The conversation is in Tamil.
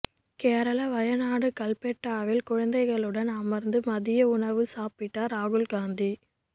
கேரள வயநாடு கல்பெட்டாவில் குழந்தைகளுடன் அமர்ந்து மதிய உணவு சாப்பிட்டார் ராகுல்காந்தி